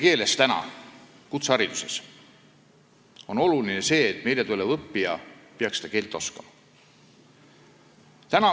Et anda kutseharidust eesti keeles, on oluline, et meile tulev õppija seda keelt oskaks.